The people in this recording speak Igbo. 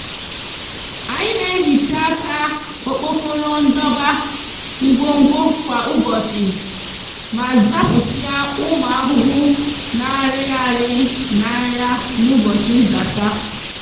anyi n'ehicha aka okpokoro ndoba ngwogwo kwa ubochi ma zapusia umu ahuhu na ariri n'aya n'ubochi nzacha